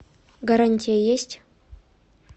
гарантия есть